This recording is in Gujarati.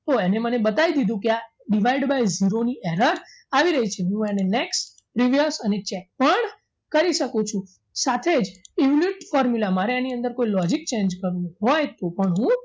તો એને મને બતાવી દીધું કે આ divide by zero ની error આવી રહી છે હું એને next previous અને check પણ કરી શકું છું સાથે in mute formula મારે એની અંદર કોઈ logic change કરવું હોય તો પણ હું